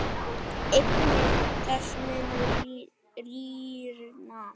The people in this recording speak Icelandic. Eignir þess munu rýrna.